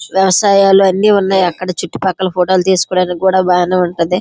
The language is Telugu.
వ్యవసాయాలు అన్నీ ఉన్నాయి. అక్కడ చుట్టుపక్కల ఫోటో లు తీసుకోవడానికి కూడ బాగానే ఉంటది.